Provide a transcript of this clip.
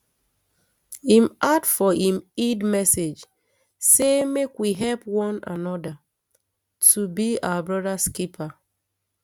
im add for im eid message say make we help one anoda um to be um our brothers keepers